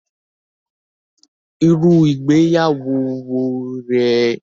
Irú ìgbéyàwó wo rè é?